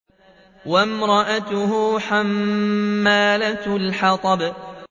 وَامْرَأَتُهُ حَمَّالَةَ الْحَطَبِ